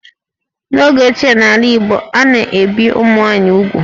N'oge ochie n'ala Igbo, a na-ebì ụmụ nwaanyị úgwù